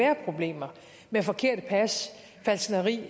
problemer med forkerte pas falskneri